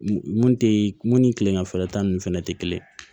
Mun te mun ni kileganfɛla ta ninnu fɛnɛ tɛ kelen ye